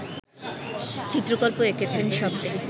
চিত্রকল্প এঁকেছেন শব্দে